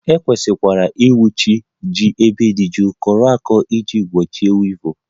E kwesịrị ịchekwa ji n'ebe dị jụụ, kọrọ ako iji gbochie wivụl